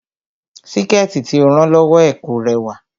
Síkẹ̀tí tí ó rán lọ́wọ́ ẹ̀ kò rẹwà